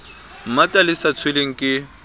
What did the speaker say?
mmata le sa tshelweng ke